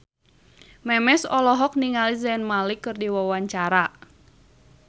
Memes olohok ningali Zayn Malik keur diwawancara